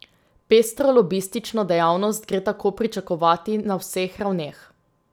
Pestro lobistično dejavnost gre tako pričakovati na vseh ravneh.